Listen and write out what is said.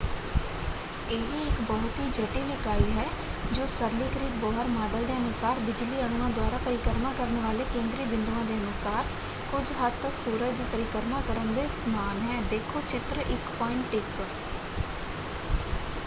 ਇਹ ਇਕ ਬਹੁਤ ਹੀ ਜਟਿਲ ਇਕਾਈ ਹੈ ਜੋ ਸਰਲੀਕ੍ਰਿਤ ਬੋਹਰ ਮਾਡਲ ਦੇ ਅਨੁਸਾਰ ਬਿਜਲੀ ਅਣੂਆਂ ਦੁਆਰਾ ਪਰਿਕਰਮਾ ਕਰਨ ਵਾਲੇ ਕੇਂਦਰੀ ਬਿੰਦੂਆਂ ਦੇ ਅਨੁਸਾਰ ਕੁਝ ਹੱਦ ਤੱਕ ਸੂਰਜ ਦੀ ਪਰਿਕਰਮਾ ਕਰਨ ਦੇ ਸਮਾਨ ਹੈ - ਦੇਖੋ ਚਿੱਤਰ 1.1